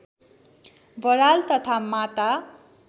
बराल तथा माता